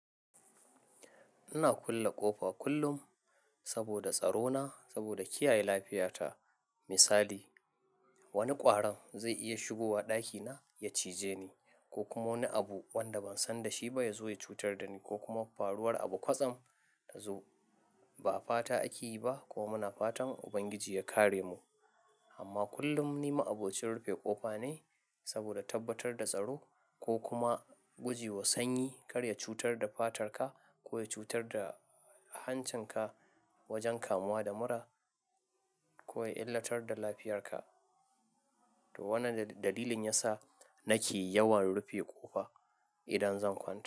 Ina kulle ƙofa kullum saboda tsaro na, saboda kiyaye lafiyata. Misali, wani ƙwaron zai iya shigowa ɗakina ya cije ni ko kuma wani abu wanda ban san dashi ba ya zo ya cutar da ni ko kuma faruwar abu kwatsam ta zo. Ba fata ake yi ba kuma muna fatan Ubangiji ya kare mu amma kullum ni ma'abocin rufe ƙofa ne sabida tabbatar da tsaro ko kuma guje wa sanyi kar ya cutar da fatarka ko ya cutar da hancinka wajen kamuwa da mura ko ya illatar da lafiyarka. To, wannan dalilin yasa nake yawan rufe ƙofa idan zan kwanta.